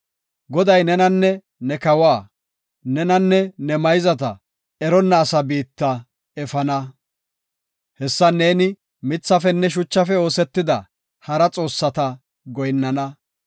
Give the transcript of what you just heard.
Goday nenanne ne kawa, nenanne ne mayzata eronna asa biitta efana. Hessan neeni mithafenne shuchafe oosetida hara xoossata goyinnana.